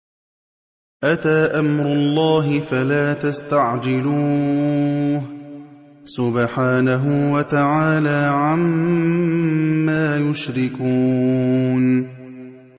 أَتَىٰ أَمْرُ اللَّهِ فَلَا تَسْتَعْجِلُوهُ ۚ سُبْحَانَهُ وَتَعَالَىٰ عَمَّا يُشْرِكُونَ